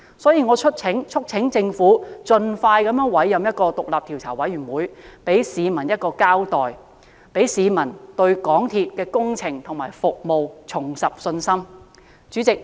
因此，我促請政府盡快委任獨立調查委員會，給市民一個交代，讓市民對港鐵公司的工程和服務重拾信心。